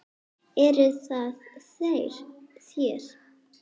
Eruð það þér?